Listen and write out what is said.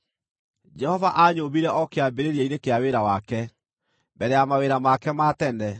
“Jehova aanyũmbire o kĩambĩrĩria-inĩ kĩa wĩra wake, mbere ya mawĩra make ma tene;